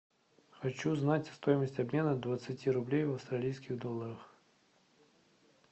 хочу знать стоимость обмена двадцати рублей в австралийских долларах